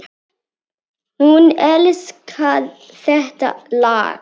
Hún elskar þetta lag!